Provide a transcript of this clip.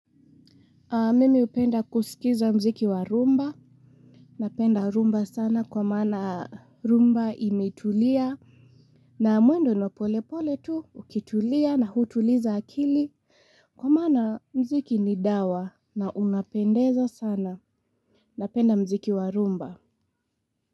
Mimi hupenda kuskiza mziki wa rumba. Napenda rumba sana kwa maana rumba imetulia. Na mwendo ni wa polepole tu ukitulia na hutuliza akili. Kwa maana mziki ni dawa na unapendeza sana. Napenda mziki wa rumba.